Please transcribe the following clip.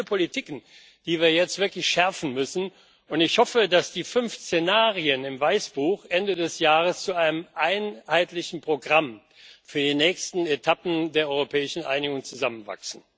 Wir haben viele Politiken, die wir jetzt wirklich schärfen müssen, und ich hoffe, dass die fünf Szenarien im Weißbuch Ende des Jahres zu einem einheitlichen Programm für die nächsten Etappen der europäischen Einigung zusammenwachsen.